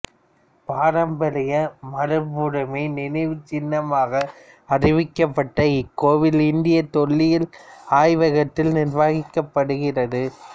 பாரம்பரிய மரபுரிமை நினைவுச்சின்னமாக அறிவிக்கப்பட்ட இக்கோவில் இந்திய தொல்லியல் ஆய்வகத்தால் நிர்வகிக்கப்படுகிறது